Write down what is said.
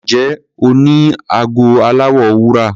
Ǹjẹ́ o ní ago aláwọ̀ wúrà?